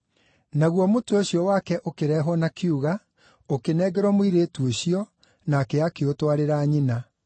Naguo mũtwe ũcio wake ũkĩrehwo na kiuga, ũkĩnengerwo mũirĩtu ũcio, nake akĩũtwarĩra nyina.